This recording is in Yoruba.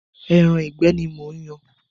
Ẹran ìgbẹ́ ni mò ń yan.